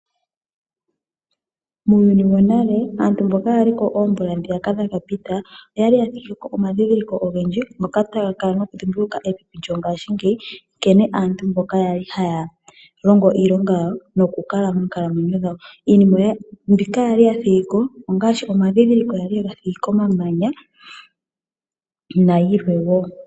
Muuyuni wonale aantu mboka yaliko oomvula ndhiyaka dhaka pita, oyali yathigiko omandhindhiliko ogendji, moka taya kala nokudhimbulukwa methimbo lyongaashingeyi ,nkene aantu kwali haya longo iilonga yawo nokukala moonkalamwenyo dhawo. Iinima mbika yali yathigiko ongaashi omandhindhiliko ngoka yali yega thigipo komamanya nayilwe woo.